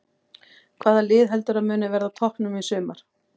Hvaða lið heldurðu að muni verða á toppnum í sumar?